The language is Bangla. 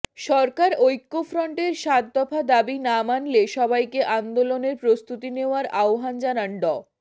সরকার ঐক্যফ্রন্টের সাত দফা দাবি না মানলে সবাইকে আন্দোলনের প্রস্তুতি নেওয়ার আহবান জানান ড